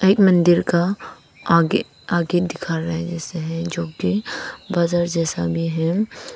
मंदिर का आगे आगे दिखा रहा है जैसा है जो कि बाजार जैसा भी है।